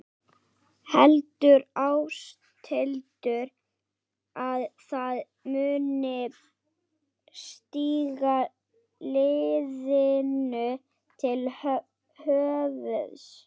Heldur Ásthildur að það muni stíga liðinu til höfuðs?